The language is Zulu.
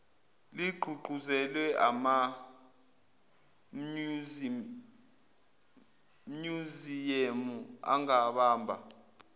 ligqugquzelwe amamnyuziyemu angabamba